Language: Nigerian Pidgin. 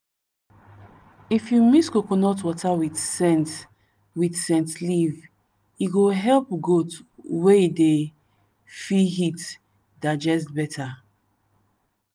if you mix coconut water with scent with scent leaf e go help goat wey dey feel heat digest better.